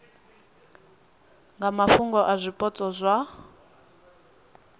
nga mafhungo a zwipotso zwa